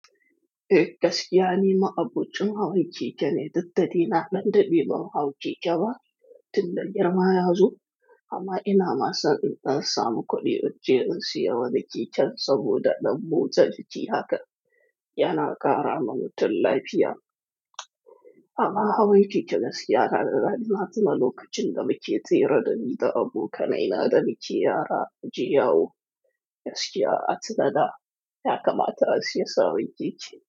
Eh, gaskiya ni ma'abocin hawan keke ne. Dak da dai na ɗan daɗe ban hau keke ba, duk da girma ya z. Amma ina ma san in ɗan samu kuɗi in je in siya wani keken saboda ɗan motsa jiki haka, yana kara ma mutun lafiya. Amma hawai leke gaskiya ka ga na tuna lokacin lokacin da muke tsere da ni da abokanai na, da muke yara mu je yawo. Gaskiya a tuna da ya kamata sai sabon keke.